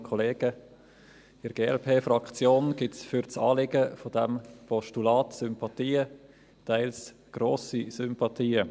In der Glp-Fraktion gibt es für das Anliegen dieses Postulats Sympathien, teils grosse Sympathien.